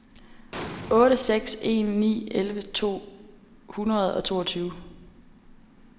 otte seks en ni elleve to hundrede og toogtyve